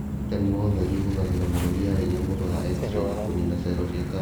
ũrigitani wa ũtheri ũhũthĩraga mĩrũri ya hinya mũno ya x ray, kũnina cero cia kanja.